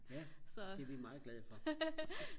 det er vi meget glade for